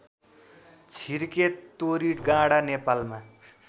छिर्के तोरीगाँडा नेपालमा